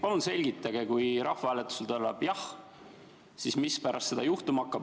Palun selgitage, et kui rahvahääletusel tuleb jah, siis mis pärast seda juhtuma hakkab.